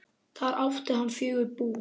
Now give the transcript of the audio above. Þar átti hann fjögur bú.